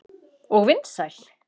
Og vinsæl.